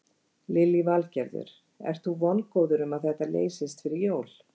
Lillý Valgerður: Ert þú vongóður um að þetta leysist fyrir jól?